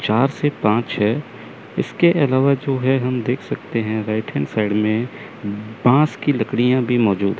चार से पांच है इसके अलावा जो है हम देख सकते हैं राइट हैंड साइड में बांस की लकड़ियां भी मौजूद--